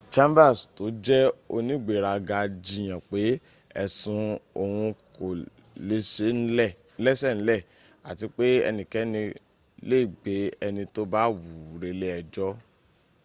chambers tó jẹ́ onígberaga jiyàn pé ẹ̀sùn òhun kò lẹ́sẹ̀ ńlẹ̀ àti pé ẹnikẹ́ni lè gbé ẹni tó bá wùú relé ẹjọ́